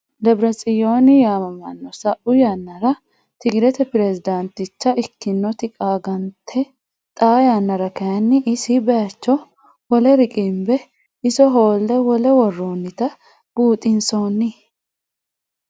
Debiretsiyooni yaamamano sa'u sanara tigirete perezidaniticha ikkinoti qaanganite xaa yanara kayinni isi bayicho wole riqimbe isso hoole wole woronitta buuxinsoonni